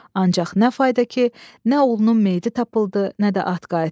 Ancaq nə fayda ki, nə oğlunun meyiti tapıldı, nə də at qayıtdı.